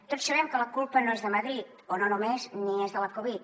tots sabem que la culpa no és de madrid o no només ni és de la covid